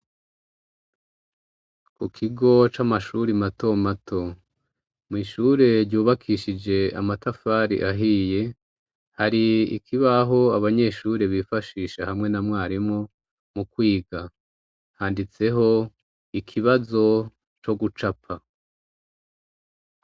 Ku kigo c'amashuri mato mato mu ishure ryubakishije amatafari ahiye hari ikibaho abanyeshure bifashisha hamwe na mwarimu mu kwiga handitseho ikibazo co gucapa.